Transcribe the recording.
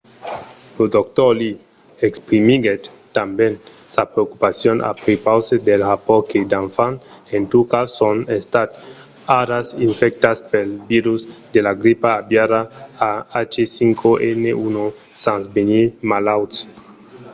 lo dr. lee exprimiguèt tanben sa preocupacion a prepaus dels rapòrts que d'enfants en turquia son estats ara infectats pel virus de la gripa aviària ah5n1 sens venir malauts